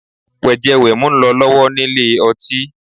Wẹ̀jẹ-wẹ̀mu ń lọ lọ́wọ́ nílé ọtí